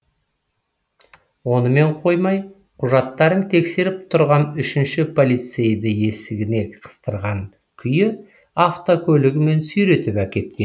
онымен қоймай құжаттарын тексеріп тұрған үшінші полицейді есігіне қыстырған күйі автокөлігімен сүйретіп әкеткен